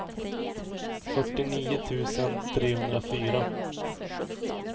fyrtionio tusen trehundrafyra